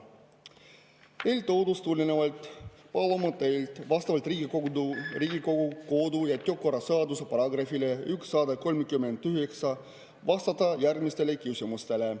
Eeltoodust tulenevalt ja vastavalt Riigikogu kodu‑ ja töökorra seaduse §‑le 139 palume teil vastata järgmistele küsimustele.